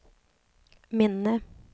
minne